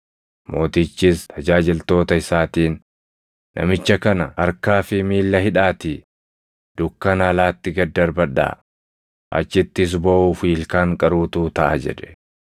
“Mootichis tajaajiltoota isaatiin, ‘Namicha kana harkaa fi miilla hidhaatii dukkana alaatti gad darbadhaa; achittis booʼuu fi ilkaan qaruutu taʼa’ jedhe.